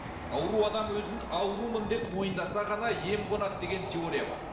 ауру адам өзін аурумын деп мойындаса ғана ем қонады деген теория бар